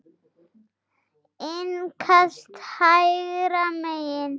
Innkast hægra megin.